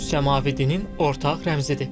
Üç səmavi dinin ortaq rəmzidir.